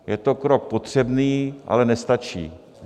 Je to krok potřebný, ale nestačí.